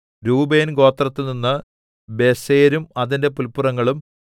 രൂബേൻ ഗോത്രത്തിൽനിന്ന് ബേസെരും അതിന്റെ പുല്പുറങ്ങളും